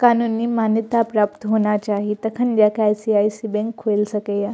कानूनी मान्यता प्राप्त होना चाही तखन जा के आई.सी.आई.सी. बैंक खुल सकेय।